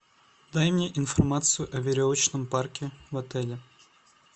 дай мне информацию о веревочном парке в отеле